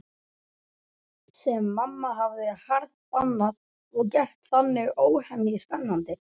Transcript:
Sem mamma hafði harðbannað og gert þannig óhemju spennandi.